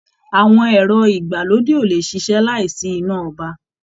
Àwọn ẹrọ ìgbàlódé o le ṣiṣẹ láì sí iná ọba.